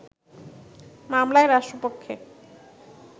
মামলায় রাষ্ট্রপক্ষে